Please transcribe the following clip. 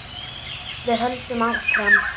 Við höldum áfram.